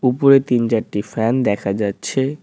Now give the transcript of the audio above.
উপরে তিন চারটি ফ্যান দেখা যাচ্ছে।